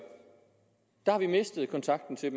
har vi mistet kontakten til